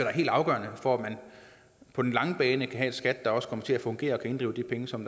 er helt afgørende for at man på den lange bane kan have et skat der også kommer til at fungere og kan inddrive de penge som